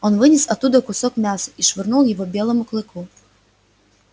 он вынес оттуда кусок мяса и швырнул его белому клыку